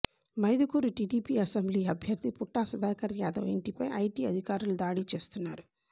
Mydukur TDP assembly అభ్యర్థి పుట్టా సుధాకర్ యాదవ్ ఇంటిపై IT అధికారులు దాడులు చేస్తున్నారు